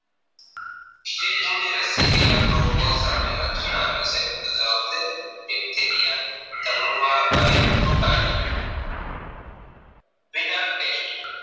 સરિગુણી રશી ક્યાં રોગો સામે રક્ષણ આપે છે તો જવાબ છે Bacteria ધનુર્વા અને ટેસ્ટ